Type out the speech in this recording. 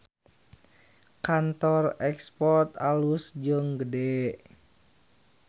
Kantor Export alus jeung gede